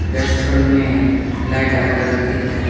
restaurant में light अलग अलग देख रहे--